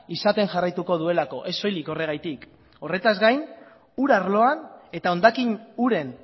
izaten jarraituko duelako ez soilik horregatik horretaz gain ur arloan eta hondakin uren